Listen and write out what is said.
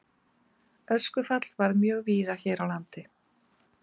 Öskufall varð mjög víða hér á landi.